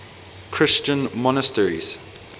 christian monasteries